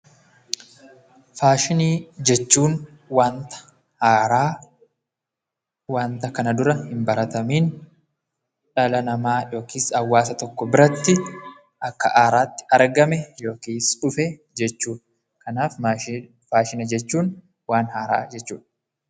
Faashinii jechuun wanta haaraa wanta kana dura hin baratamiin dhala namaa yookiin hawaasa tokko biratti akka haaraatti kan argame yookiis dhufe jechuudha. Kanaaf faashina jechuun waan haaraa jechuudha.